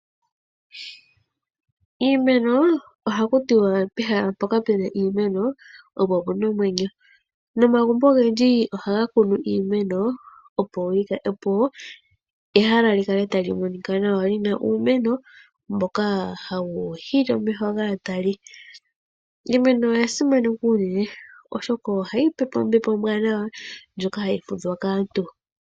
Iimeno oha kutiwa pehala mpoka puna iimeno opo pena omwenyo, noomagumbo ogendji ohaga kununu iimeno opo ehala lyi kale ta li monika nawa lina uumeno mboka hawu hili omeho gaatali. Iimeno oyasimanekwa unene oshoka oyo hayi tupe ombepo omnwanawa ndyoka hayifudhwa kaantu.